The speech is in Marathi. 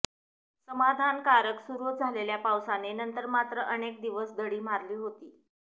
समाधानकारक सुरू झालेल्या पावसाने नंतर मात्र अनेक दिवस दडी मारली होती